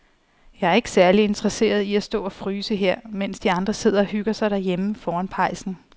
Jeg er ikke særlig interesseret i at stå og fryse her, mens de andre sidder og hygger sig derhjemme foran pejsen.